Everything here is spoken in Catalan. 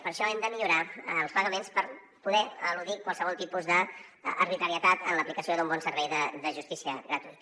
per això hem de millorar els pagaments per poder eludir qualsevol tipus d’arbitrarietat en l’aplicació d’un bon servei de justícia gratuïta